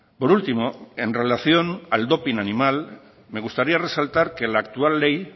por último en relación al doping animal me gustaría resaltar que la actual ley